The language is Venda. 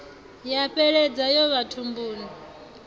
ya fheleledza yo ya thumbuni